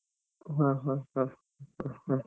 ಹ ಹ ಹ ಹ ಹ.